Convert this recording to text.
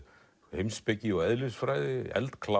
heimspeki og eðlisfræði